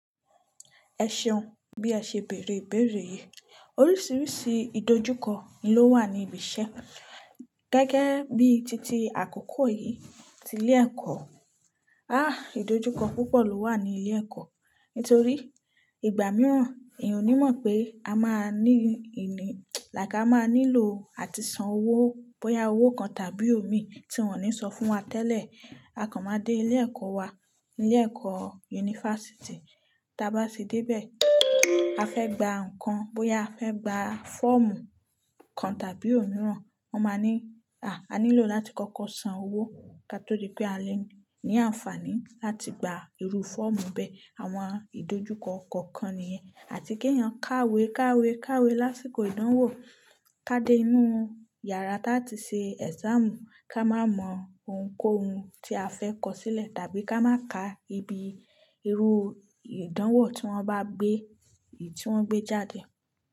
Ẹ ṣeun. Bí a ṣe bèèrè ìbéèrè yìí, oríṣiríṣi ìdojúkọ ló wà ní ibi iṣẹ́. Gẹ́gẹ́ bí títí àkókò yìí tí ilé ẹ̀kọ́. Àh! Ìdojúkọ púpọ̀ ló wà ní ilé ẹ̀kọ́. Nítorí ìgbà mìíràn, èèyàn ò ní mọ̀ pé a máa ní ìní làì ká máa nílò àti san owó bóyá owó kan tàbí òmí tí wọ́n ò ní sọ fún wa tẹ́lẹ̀. A kàn máa dé ilé ẹ̀kọ́ wa, ilé ẹ̀kọ́ yunifásítì, tí a bá sì dé bẹ́ẹ̀, a fẹ́ gba nǹkan, bóyá a fẹ́ gba fọ́ọ̀mù kan tàbí òmíràn, wọ́n máa ní, "à, a nílò láti kọ́kọ́ san owó ká tó rí pé a lè ní àǹfààní láti gba irú fọ́ọ̀mù bẹ́ẹ̀." Àwọn ìdojúkọ kọ̀ọ̀kan nìyẹn. Àti kí èèyàn kàwé, kàwé, kàwé lásìkò ìdánwò, ká dé inú yàrá láti ṣe ẹ̀sáàmù, ká má mọ ohunkóhun tí a fẹ́ kọ sílẹ̀ tàbí ká má ka ibi irú ìdánwò tí wọ́n bá gbé, tí wọ́n gbé jáde.